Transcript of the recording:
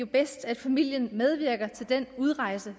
bedst at familien medvirker til den udrejse